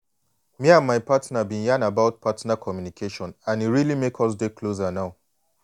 me and my partner been yan about partner communication and e really make us dey closer now